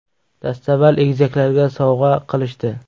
Dastavval egizaklarga sovg‘a qilishdi.